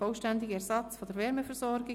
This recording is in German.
Vollständiger Ersatz der Wärmeversorgung.